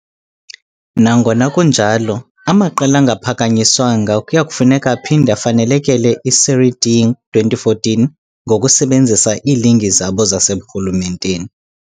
Nangona kunjalo, amaqela angaphakanyiswanga kuya kufuneka aphinde afanelekele i -Série D 2014 ngokusebenzisa iiligi zabo zaseburhulumenteni.